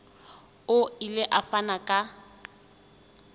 o ile a fana ka